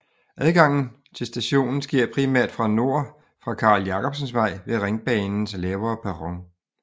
Adgangen til stationen sker primært fra nord fra Carl Jacobsens Vej ved Ringbanens lavere perron